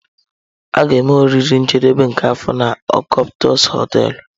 A ga-eme oriri njedebe nke afọ na Octopus hoteelu.